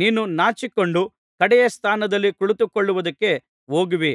ನೀನು ನಾಚಿಕೊಂಡು ಕಡೆಯ ಸ್ಥಾನದಲ್ಲಿ ಕುಳಿತುಕೊಳ್ಳುವುದಕ್ಕೆ ಹೋಗುವಿ